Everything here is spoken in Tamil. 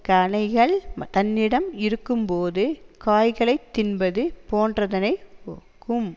கனிகள் தன்னிடம் இருக்கும்போது காய்களைத் தின்பது போன்றதனை ஒக்கும்